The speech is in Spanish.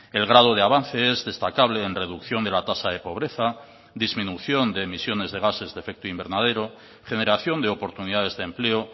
el grado de avance es destacable en reducción de la tasa de pobreza disminución de emisiones de gases de efecto invernadero generación de oportunidades de empleo